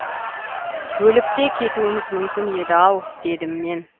өліп те кетуіміз мүмкін еді ау дедім мен